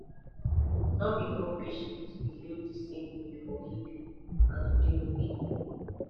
no be all patients believe the same way for healing and e dey okay